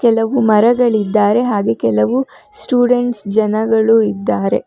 ಕೆಲವು ಮರಗಳಿದ್ದಾರೆ ಹಾಗೆ ಕೆಲವು ಸ್ಟೂಡೆಂಟ್ಸ್ ಜನಗಳು ಇದ್ದಾರೆ.